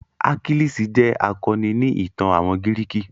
Achilles jẹ́ akọni ni ìtàn àwọn gírìkì.